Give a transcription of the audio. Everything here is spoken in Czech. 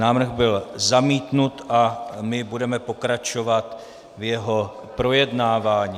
Návrh byl zamítnut a my budeme pokračovat v jeho projednávání.